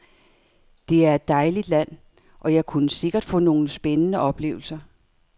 Det er et dejligt land, og jeg kunne sikkert få nogle spændende oplevelser.